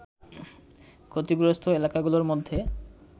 ক্ষতিগ্রস্ত এলাকাগুলোর মধ্যে